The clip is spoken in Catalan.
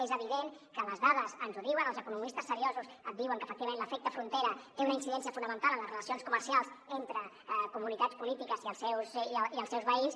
és evident que les dades ens ho diuen els economistes seriosos et diuen que efectivament l’efecte frontera té una incidència fonamental en les relacions comercials entre comunitats polítiques i els seus veïns